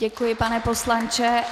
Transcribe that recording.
Děkuji, pane poslanče.